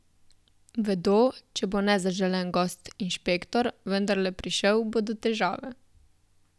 Vedo, če bo nezaželen gost, inšpektor, vendarle prišel, bodo težave.